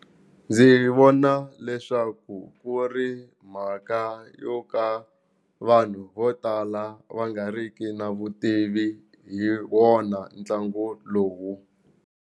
Ndzi vona leswaku ku ri mhaka yo ka vanhu vo tala va nga ri ki na vutivi hi wona ntlangu lowu.